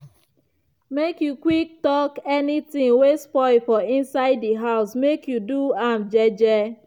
make you quick talk any ting wey spoil for inside di house and make u do am je je.